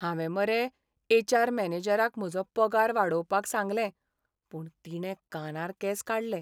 हांवें मरे एच.आर. मॅनेजराक म्हजो पगार वाडोवपाक सांगलें पूण तिणें कानार केंस काडलें.